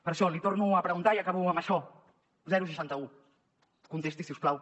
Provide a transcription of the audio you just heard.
per això li ho torno a preguntar i acabo amb això seixanta un contesti si us plau